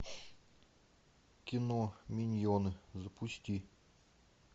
кино миньоны запусти